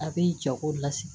A bɛ jago lasigi